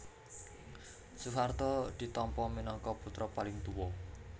Soeharto ditampa minangka putra paling tuwa